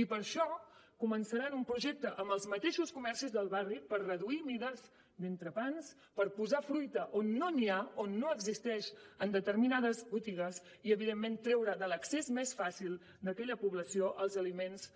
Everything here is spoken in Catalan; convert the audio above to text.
i per això començarem un projecte amb els mateixos comerços del barri per reduir mides d’entrepans per posar fruita on no n’hi ha on no existeix en determinades botigues i evidentment per treure de l’accés més fàcil d’aquella població els aliments